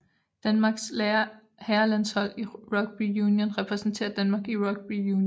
Danmarks herrelandshold i rugby union repræsenterer Danmark i rugby union